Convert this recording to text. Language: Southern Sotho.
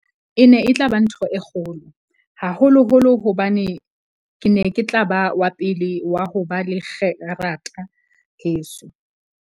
E ne e tla ba ntho e kgolo, haholoholo hobane ke ne ke tla ba wa pele wa ho ba le kgerata heso.